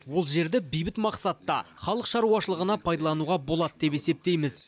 ол жерді бейбіт мақсатта халық шаруашылығына пайдалануға болады деп есептейміз